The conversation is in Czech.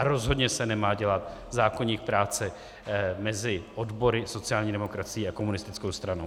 A rozhodně se nemá dělat zákoník práce mezi odbory, sociální demokracií a komunistickou stranou.